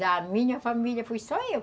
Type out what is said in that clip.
Da minha família fui só eu.